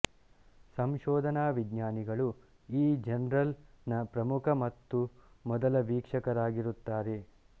ಸಂಶೋಧನಾ ವಿಜ್ಞಾನಿಗಳು ಈ ಜರ್ನಲ್ ನ ಪ್ರಮುಖ ಮತ್ತು ಮೊದಲ ವೀಕ್ಷಕರಾಗಿರುತ್ತಾರೆ